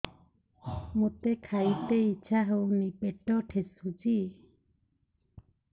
ମୋତେ ଖାଇତେ ଇଚ୍ଛା ହଉନି ପେଟ ଠେସୁଛି